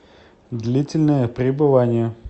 длительное пребывание